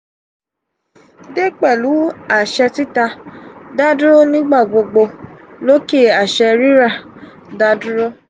de pelu aṣẹ tita da duro nigba gbogbo loke aṣẹ rira da duro.